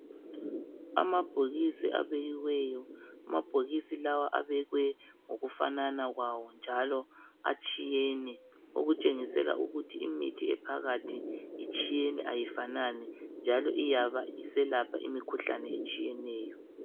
Amabhokisi abekiweyo, amabhokisi lawa abekwe ngokufanana kwawo njalo atshiyene, okutshengisela ukuthi imithi ephakathi itshiyene ayifanani njalo iyabe iselapha imikhuhlane etshiyeneyo.